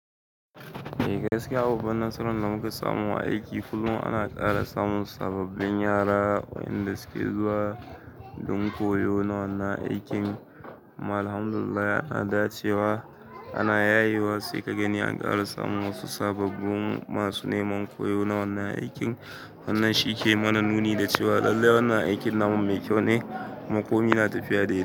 Eh gaskiya, babbar nasarar da muka samu a aiki kullum ana ƙara samun sababbin yara wayanda su ke zuwa don koyo na wannan aikin. Alhamdulillah ana dacewa, ana yaye wa sai ka gani an ƙara samun wasu sababbin masu neman koyo na wannan aikin. Wannan shi ke mana nuni da cewa lallai wannan aikin na namu mai kyau ne, kuma komi na tafiya dai-dai.